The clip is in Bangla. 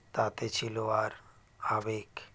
তাতে ছিল আর আবেগ